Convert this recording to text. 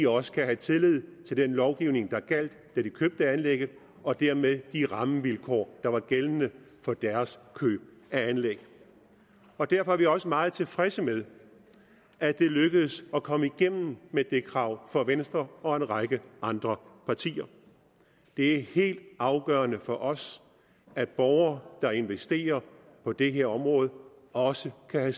også kan have tillid til den lovgivning der gjaldt da de købte anlægget og dermed de rammevilkår der var gældende for deres køb af anlæg derfor er vi også meget tilfredse med at det lykkedes at komme igennem med det krav for venstre og en række andre partier det er helt afgørende for os at borgere der investerer på det her område også kan